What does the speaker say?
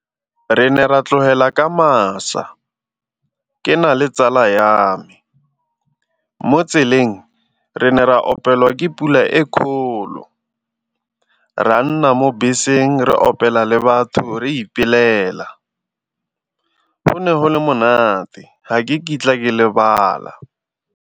Re ne ra tlogela ka masa ke na le tsala ya me. Mo tseleng re ne ra ke pula e kgolo re a nna mo beseng re opela le batho re , go ne go le monate ga ke kitla ke lebala.